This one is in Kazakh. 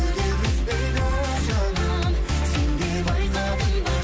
күдер үзбейді жаным сен де байқадың ба